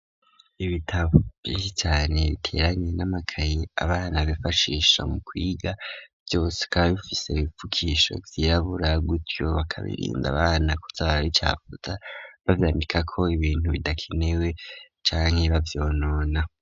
Ibitabo vyinshi cane biteranye n'amakaye abana bifashisha mu kwiga vyose bikaba bifise ibifukisho vyirabura, gutyo bakabirinda abana kuza barabicafuza bavyandikako ibintu bidakenewe canke bavyonona.